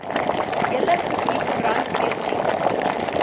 hele gebied brandweerdienste